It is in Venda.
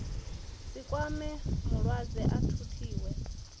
si kwame mulwadze a thuthiwe